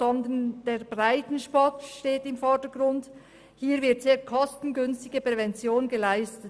Vielmehr steht der Breitensport im Vordergrund, und hier wird eine sehr kostengünstige Prävention geleistet.